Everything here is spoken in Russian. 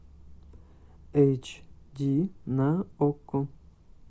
эйч ди на окко